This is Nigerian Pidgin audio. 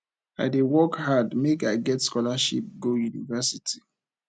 i dey work hard make i get scholarship go university